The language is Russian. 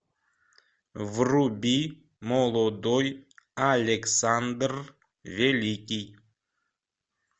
вруби молодой александр великий